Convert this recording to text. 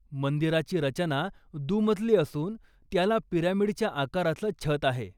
मंदिराची रचना दुमजली असून त्याला पिरॅमिडच्या आकाराचं छत आहे.